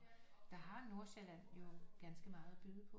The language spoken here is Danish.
Der har Nordsjælland jo ganske meget at byde på